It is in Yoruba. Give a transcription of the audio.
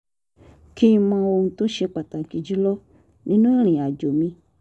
kí n mọ ohun tó ṣe pàtàkì jù lọ nínú ìrìn àjò mi